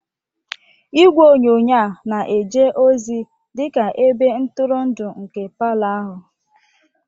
Igwe onyonyo a na-eje ozi dị ka ebe ntụrụndụ nke palọ ahụ.